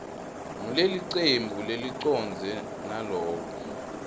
ngulelicembu lelicondzene naloko